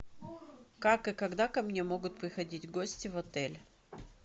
как и когда ко мне могут приходить гости в отель